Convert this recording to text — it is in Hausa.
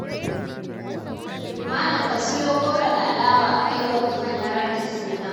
Malam ka siyo goro da alawa a kai wa Liman na raɗin suna.